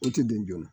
O tɛ don joona